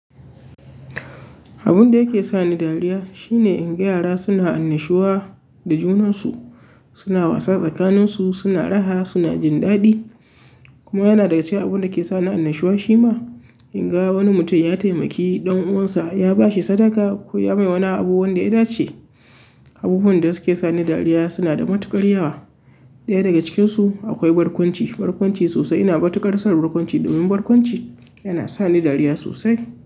Abun da yake sa ni dariya shine in ga yara suna annashuwa da junansu, suna wasa tsakaninsu, suna raha, suna jin daɗi. Kuma yana daga cikin abun da ke sa ni annashuwa shima inga wani mutum ya taimaki ɗan uwansa, ya ba shi sadaka ko ya mai wani abu wanda ya dace. Abubuwan da suke sa ni dariya suna da matuƙar yawa. Ɗaya daga cikinsu akwai barkwanci. Barkwanci sosai. Ina matukarsan barkwanci domin barkwanci yana sa ni dariya sosai.